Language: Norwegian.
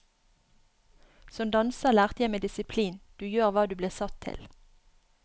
Som danser lærte jeg meg disiplin, du gjør hva du blir satt til.